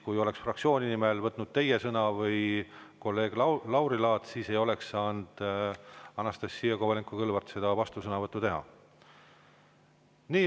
Kui fraktsiooni nimel oleksite võtnud sõna teie või kolleeg Lauri Laats, siis ei oleks Anastassia Kovalenko-Kõlvart saanud seda vastusõnavõttu teha.